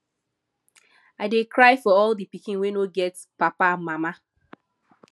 i dey cry for all the pikin wey no get papa and mama